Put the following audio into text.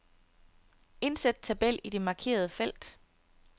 Indsæt tabel i det markerede felt.